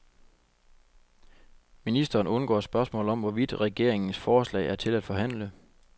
Ministeren undgår spørgsmål om, hvorvidt regeringens forslag er til at forhandle.